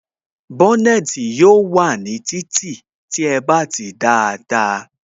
Bónètī yóò wà ní títì tí ẹ bá tìí dáadáa